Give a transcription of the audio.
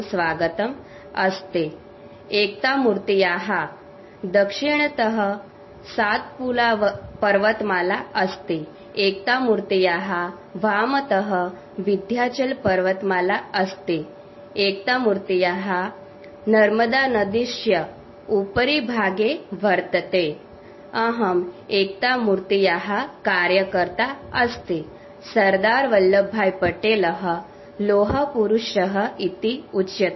sound clip Statue of unity